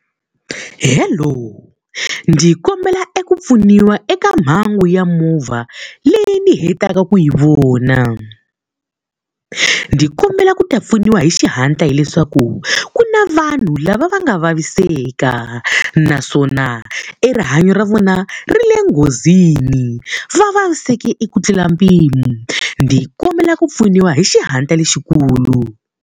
Hello. Ndzi kombela eku pfuniwa eka mhangu ya movha leyi ni hetaka ku yi vona. Ndzi kombela ku ta pfuniwa hi xihatla hileswaku ku na vanhu lava va nga vaviseka, naswona e rihanyo ra vona ri le nghozini. Va vaviseke eku tlula mpimo, ndzi kombela ku pfuniwa hi xihatla lexikulu.